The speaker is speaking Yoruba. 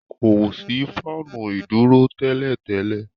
kọ sí Fáànù iduro télètélè.